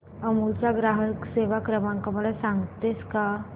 अमूल चा ग्राहक सेवा क्रमांक मला सांगतेस का